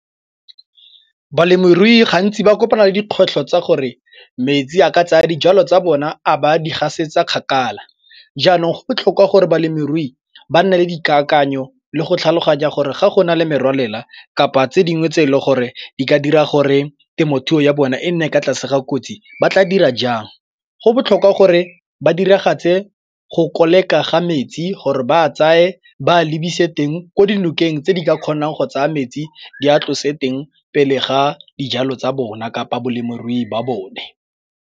Balemirui gantsi ba kopana le dikgwetlho tsa gore metsi a ka tsaya dijalo tsa bona a ba a di gasetsa kgakala. Jaanong go botlhokwa gore balemirui ba nne le dikakanyo le go tlhaloganya gore ga gona le merwalela kapa tse dingwe tse e le gore di ka dira gore temothuo ya bona e nne ka tlase ga kotsi ba tla dira jang. Go botlhokwa gore ba diragatse go koleka ga metsi gore ba tsamaye ba lebise teng ko dinokeng tse di ka kgonang go tsaya metsi di a tlose teng pele ga dijalo tsa bona kapa balemirui ba bone.